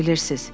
Bilirsiniz.